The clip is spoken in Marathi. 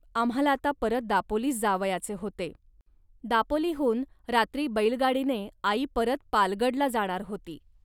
आम्हांला आता परत दापोलीस जावयाचे होते. दापोलीहून रात्री बैलगाडीने आई परत पालगडला जाणार होती